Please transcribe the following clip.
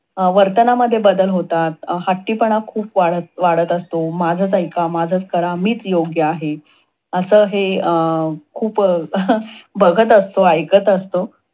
वर्तनामध्ये बदल होतात. हट्टीपणा खूप वाढत वाढत असतो. माझच ऐका, माझचं करा, मीच योग्य आहे. अस हे खूप बघत असतो. ऐकत असतो.